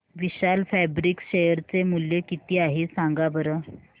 विशाल fabrics share चे मूल्य किती आहे सांगा बरं